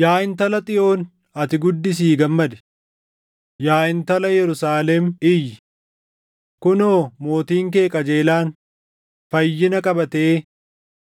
Yaa Intala Xiyoon ati guddisii gammadi! Yaa Intala Yerusaalem iyyi! Kunoo mootiin kee qajeelaan, fayyina qabatee,